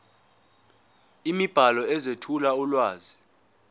imibhalo ezethula ulwazi